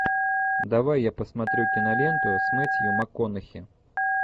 давай я посмотрю киноленту с мэттью макконахи